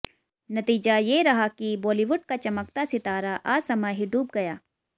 नतीजा ये रहा कि बाॅलीवुड का चमकता सितारा असमय ही डूब गया